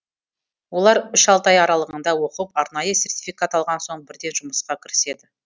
олар үш алты ай аралығында оқып арнайы сертификат алған соң бірден жұмысқа кіріседі